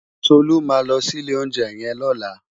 Tolu má lò si ilé óunjè yèn lòlá